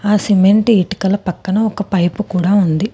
ఆ సిమెంటు ఇటుకల పక్కన ఒక పైపు కూడా ఉంది.